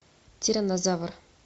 тиранозавр